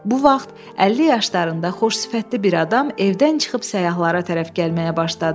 Bu vaxt 50 yaşlarında xoş sifətli bir adam evdən çıxıb səyahlara tərəf gəlməyə başladı.